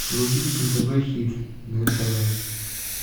вруби нтв хит на нтв